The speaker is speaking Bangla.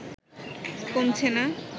কমছে না